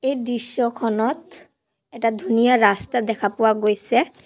এই দৃশ্যখনত এটা ধুনীয়া ৰাস্তা দেখা পোৱা গৈছে।